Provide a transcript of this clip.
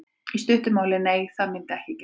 Í stuttu máli: Nei það myndi ekki gerast.